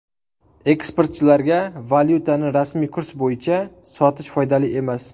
Eksportchilarga valyutani rasmiy kurs bo‘yicha sotish foydali emas.